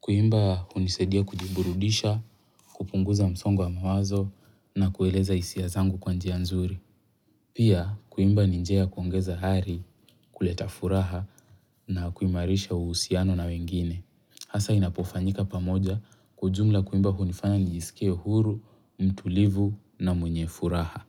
Kuimba hunisaidia kujiburudisha, kupunguza msongo wa mawazo na kueleza hisia zangu kwa njia nzuri. Pia kuimba ni njia kuongeza hari, kuleta furaha na kuimarisha uhusiano na wengine. Hasa inapofanyika pamoja. Kwa ujumla, kuimba hunifanya nijisikia huru, mtulivu na mwenye furaha.